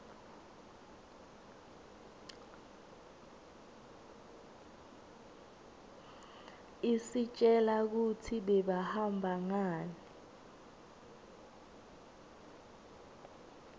istjela kutsi bebahamba ngani